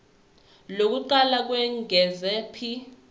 lokuqala lokwengeza p